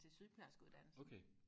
til sygeplejerske uddannelsen